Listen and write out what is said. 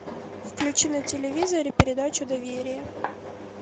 включи на телевизоре передачу доверие